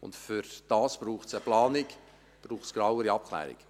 Dafür braucht es eine Planung und eine genauere Abklärung.